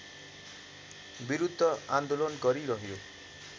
विरूद्ध आन्दोलन गरिरह्यो